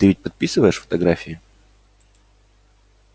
ты ведь подписываешь фотографии